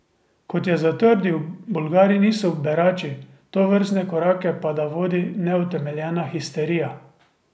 Kot je zatrdil, Bolgari niso berači, tovrstne korake pa da vodi neutemeljena histerija.